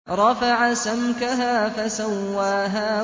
رَفَعَ سَمْكَهَا فَسَوَّاهَا